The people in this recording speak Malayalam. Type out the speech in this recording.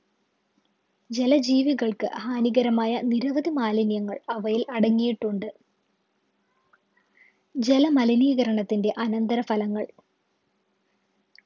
ജല ജീവികൾക്ക് ഹാനികരമായ നിരവധി മാലിന്യങ്ങൾ അവയിൽ അടങ്ങിയിട്ടുണ്ട് ജല മലിനീകരണത്തിൻ്റെ അനന്തരഫലങ്ങൾ